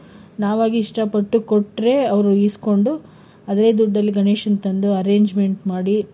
ನಾವಾಗಿ ಇಷ್ಟ ಪಟ್ಟು ಕೊಟ್ರೆ ಅವ್ರು ಇಸ್ಕೊಂಡು, ಅದೇ ದುಡ್ಡಲ್ಲಿ ಗಣೇಶನ್ ತಂದು arrangement ಮಾಡಿ,